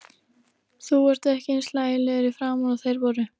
Þú ert ekki eins hlægilegur í framan og þeir voru.